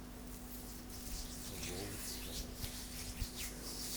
волжскому